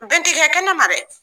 Bɛn ti kɛ kɛnɛma dɛ!